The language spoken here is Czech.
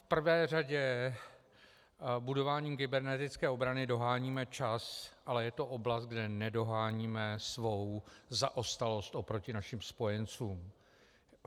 V prvé řadě budováním kybernetické obrany doháníme čas, ale je to oblast, kde nedoháníme svou zaostalost oproti našim spojencům.